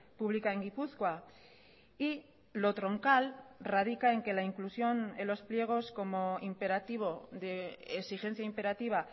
pública en gipuzkoa y lo troncal radica en que la inclusión en los pliegos como imperativo de exigencia imperativa